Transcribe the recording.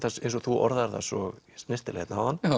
eins og þú orðaðir það svo snyrtilega hérna áðan